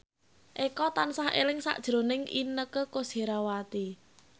Eko tansah eling sakjroning Inneke Koesherawati